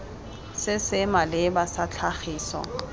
se se maleba sa tlhagiso